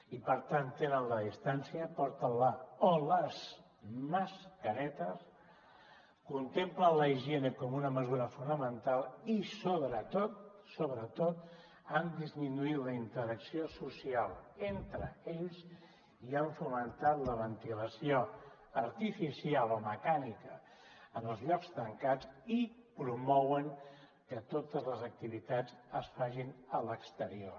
i per tant tenen la distància porten la o les mascaretes contemplen la higiene com una mesura fonamental i sobretot han disminuït la interacció social entre ells i han fomentat la ventilació artificial o mecànica en els llocs tancats i promouen que totes les activitats es facin a l’exterior